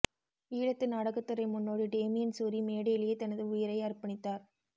ஈழத்து நாடகத்துறை முன்னோடி டேமியன் சூரி மேடையிலேயே தனது உயிரை அர்ப்பணித்தார்